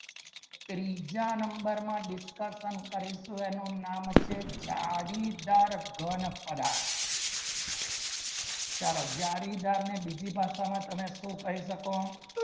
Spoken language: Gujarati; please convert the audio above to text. ત્રીજા number માં discussion કરીશું એનું નામ છે જાડીદાર ઘન પદાર્થમાં તમે શું કહી શકો